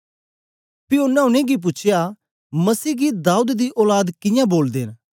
पी ओनें उनेंगी पूछया मसीह गी दाऊद दी औलाद कियां बोलदे न